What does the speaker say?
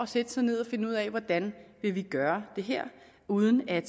sætte sig ned og finde ud af hvordan man vil gøre det her uden at